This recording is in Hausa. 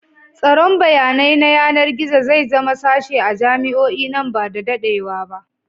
Tsaron bayanai na yanar gizo zai zama sashe a jami'o'i nan ba da daɗewa ba.